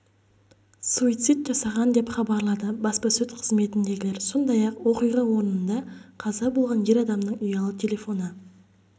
суицид жасаған деп хабарлады баспасөз қызметіндегілер сондай-ақ оқиға орнында қаза болған ер адамның ұялы телефоны